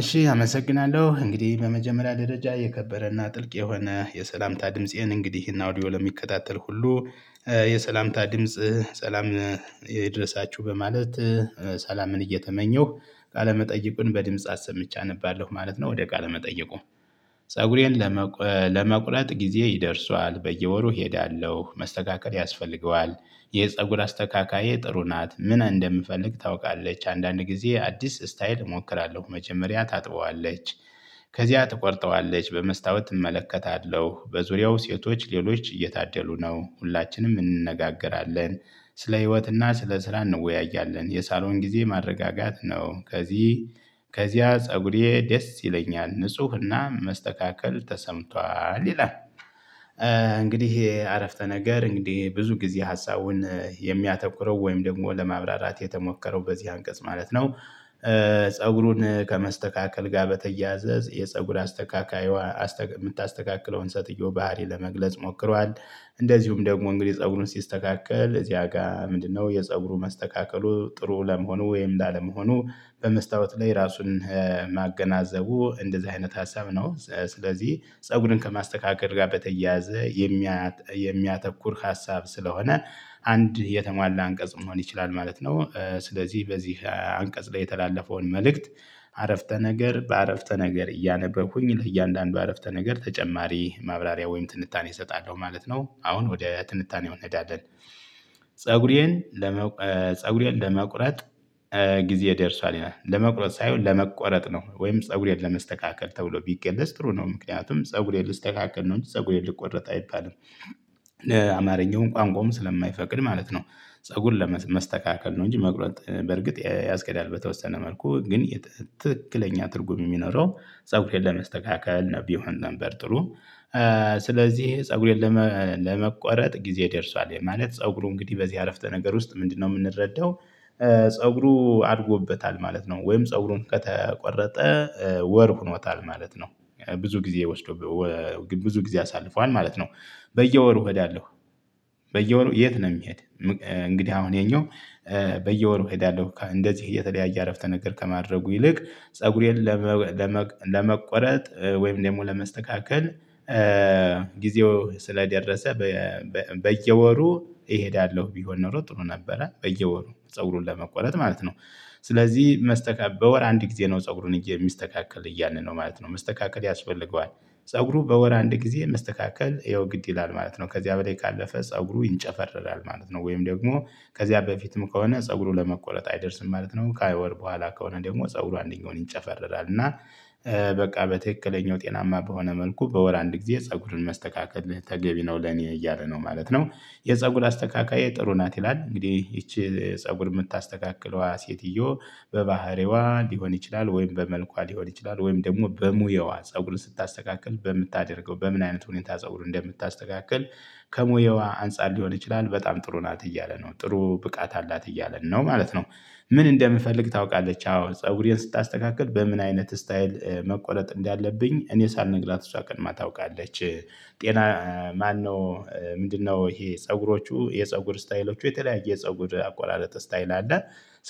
እሺ አመሰግናለሁ እንግዲህ በመጀመሪያ ደረጃ የከበረና ጥልቅ የሆነ የሰላምታ ድምፄን እንግዲህ እናው ኦዲዮ ለሚከታተል ሁሉ የሰላምታ ድምጽ ሰላም ይድረሳችሁ በማለት ሰላምን እየተመኘሁ ቃለመጠየቁን በድምጽ አሰምቼ አነባለሁ ማለት ነው። ወደ ቃለመጠየቁ ፀጉሬን ለመቁ ለመቁረጥ ጊዜ ይደርሷል በየወሩ እሄዳለሁ መስተካከል ያስፈልገዋል። የፀጉር አስተካካዬ ጥሩ ናት ምን እንደምፈልግ ታውቃለች አንዳንድ ጊዜ አዲስ ስታይል እሞክራለሁ መጀመሪያ ታጥበዋለች ከዚያ ትቆርጠዋለች በመስታወት እመለከታለሁ በዙሪያው ሴቶች ሌሎች እየታደሉ ነው ሁላችንም እንነጋገራለን። ስለ ህይወትና ስለ ስራ እንወያያለን የሳሎን ጊዜ ማረጋጋት ነው። ከዚህ ከዚያ ፀጉሬ ደስ ይለኛል ንፁህና መስተካከል ተሰምቷል ይላል። እንግዲህ ይሄ አረፍተ ነገር እንግዲህ ብዙ ጊዜ ሀሳቡን የሚያተኩረው ወይም ደግሞ ለማብራራት የተሞከረው በዚህ አንቀጽ ማለት ነው። ፀጉሩን ከመስተካከል ጋር በተያዘዝ የፀጉር አስተካካይዋ የምታስተካክለውን ሴትዮ ባህሪ ለመግለጽ ሞክሯል። እንደዚሁም ደግሞ እንግዲህ ፀጉሩን ሲስተካከል እዚያ ጋር ምንድነው? የፀጉሩ መስተካከሉ ጥሩ ለመሆኑ ወይም ላለመሆኑ በመስታወት ላይ ራሱን ማገናዘቡ እንደዚህ አይነት ሀሳብ ነው። ስለዚህ ፀጉርን ከማስተካከል ጋር በተያያዘ የሚያተኩር ሀሳብ ስለሆነ አንድ የተሟላ አንቀጽ መሆን ይችላል ማለት ነው። ስለዚህ በዚህ አንቀጽ ላይ የተላለፈውን መልእክት አረፍተ ነገር በአረፍተ ነገር እያነበብኩኝ ለእያንዳንዱ አረፍተ ነገር ተጨማሪ ማብራሪያ ወይም ትንታኔ እሰጣለሁ ማለት ነው። አሁን ወደ ትንታኔው እንሄዳለን። ፀጉሬን ለመቁረጥ ጊዜ ደርሷል ይላል ለመቁረጥ ሳይሆን ለመቆረጥ ነው ወይም ፀጉሬን ለመስተካከል ተብሎ ቢቀለጽ ጥሩ ነው ምክንያቱም ፀጉሬን ልስተካከል ነው እንጂ ፀጉር ልቆረጥ አይባልም። አማርኛውን ቋንቋውን ስለማይፈቅድ ማለት ነው። ፀጉር ለመስተካከል ነው እንጂ መቁረጥ በርግጥ ያስኬህዳል በተወሰነ መልኩ ግን ትክክለኛ ትርጉም የሚኖረው ፀጉሬን ለመስተካከል ቢሆን ነበር ጥሩ። ስለዚህ ፀጉሬን ለመቆረጥ ጊዜ ደርሷል ማለት ፀጉሩ እንግዲህ በዚህ አረፍተ ነገር ውስጥ ምንድነው የምንረዳው? ፀጉሩ አድጎበታል ማለት ነው። ወይም ፀጉሩም ከተቆረጠ ወር ሆኖታል ማለት ነው። ብዙ ጊዜ ወስዶ ብዙ ጊዜ አሳልፏል ማለት ነው። በየወሩ እሄዳለሁ። በየወሩ የት? ነው የሚሄድ እንግዲህ አሁን ይሄኛው በየወሩ እሄዳለሁ እንደዚህ የተለያየ አረፍተ ነገር ከማድረጉ ይልቅ ፀጉሬን ለመቆረጥ ወይም ደግሞ ለመስተካከል ጊዜው ስለደረሰ በየወሩ እሄዳለሁ ቢሆን ኖሮ ጥሩ ነበረ በየወሩ ፀጉሩን ለመቆረጥ ማለት ነው። ስለዚህ መስተካ በወር አንድ ጊዜ ነው ፀጉሩን የሚስተካከል እያልን ነው ማለት ነው መስተካከል ያስፈልገዋል። ፀጉሩ በወር አንድ ጊዜ መስተካከል ይኸው ግድ ይላል ማለት ነው። ከዚያ በላይ ካለፈ ፀጉሩ ይንጨፈረራል ማለት ነው። ወይም ደግሞ ከዚያ በፊትም ከሆነ ፀጉሩን ለመቆረጥ አይደርስም ማለት ነው። ከወር በኋላ ከሆነ ደግሞ ፀጉሩ አንደኛውን ይንጨፈረራል እና በቃ በትክክለኛው ጤናማ በሆነ መልኩ በወር አንድ ጊዜ ፀጉርን መስተካከል ተገቢ ነው ለኔ እያለ ነው ማለት ነው። የፀጉር አስተካካዬ ጥሩ ናት ይላል። እንግዲህ ይቺ ፀጉር የምታስተካክለዋ ሴትዮ በባህሪዋ ሊሆን ይችላል ወይም በመልኳ ሊሆን ይችላል ወይም ደግሞ በሙየዋ ፀጉርን ስታስተካክል በምታደርገው በምን አይነት ሁኔታ ፀጉር እንደምታስተካክል። ከሙያዋ አንፃር ሊሆን ይችላል በጣም ጥሩ ናት እያለ ነው ጥሩ ብቃት አላት እያለን ነው ማለት ነው። ምን እንደምፈልግ ታውቃለች አዎ ፀጉሬን ስታስተካክል በምን አይነት ስታይል መቆረጥ እንዳለብኝ እኔ ሳልነግራት እሷ ቀድማ ታውቃለች። ጤና ማነው? ምንድነው? ይሄ ፀጉሮቹ የፀጉር ስታይሎቹ የተለያየ የፀጉር አቆራረጥ ስታይል አለ።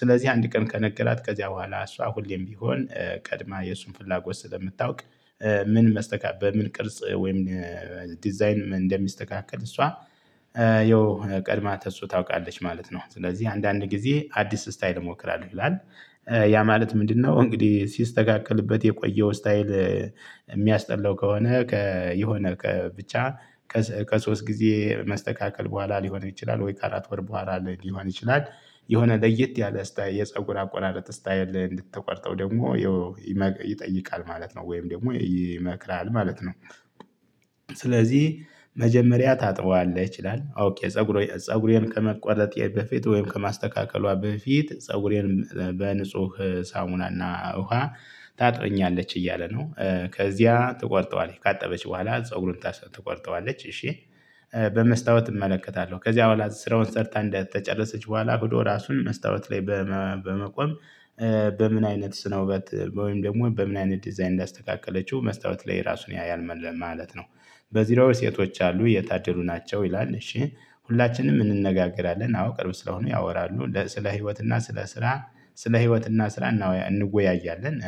ስለዚህ አንድ ቀን ከነገራት ከዚያ በኋላ እሷ ሁሌም ቢሆን ቀድማ የእሱን ፍላጎት ስለምታውቅ ምን መስተካ በምን ቅርጽ ወይም ዲዛይን እንደሚስተካከል እሷ የው ቀድማ ተሱ ታውቃለች ማለት ነው ስለዚህ አንዳንድ ጊዜ አዲስ ስታይል እሞክራለሁ ይላል። ያ ማለት ምንድነው? እንግዲህ ሲስተካከልበት የቆየው ስታይል የሚያስጠላው ከሆነ የሆነ ብቻ ከሶስት ጊዜ መስተካከል በኋላ ሊሆን ይችላል ወይ ከአራት ወር በኋላ ሊሆን ይችላል። የሆነ ለየት ያለ ስታይ የፀጉር አቆራረጥ ስታይል እንድትቆርጠው ደግሞ ይጠይቃል ማለት ነው። ወይም ደግሞ ይመክራል ማለት ነው። ስለዚህ መጀመሪያ ታጥበዋለህ ይችላል ኦኬ ፀጉሬን ፀጉሬን ከመቆረጤ በፊት ወይም ከማስተካከሏ በፊት ፀጉሬን በንጹህ ሳሙናና ውሃ ታጥበኛለች እያለ ነው። ከዚያ ትቆርጠዋለች ካጠበች በኋላ ፀጉሩን ትቆርጠዋለች እሺ። በመስታወት እመለከታለሁ ከዚያ በኋላ ስራውን ሰርታ እንደተጨረሰች በኋላ ራሱን መስታወት ላይ በመቆም በምን አይነት ስነ ውበት ወይም ደግሞ በምን አይነት ዲዛይን እንዳስተካከለችው መስታወት ላይ ራሱን ያያል ማለት ነው። በዚህ ላይ ሴቶች አሉ የታደሉ ናቸው ይላል። እሺ ሁላችንም እንነጋገራለን አዎ ቅርብ ስለሆኑ ያወራሉ ስለ ህይወትና ስለ ስራ። ስለ ህይወትና ስራ እንወያያለን።